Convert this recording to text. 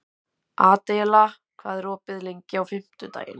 Adela, hvað er opið lengi á fimmtudaginn?